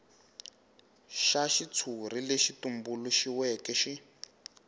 xa xitshuri lexi tumbuluxiweke xi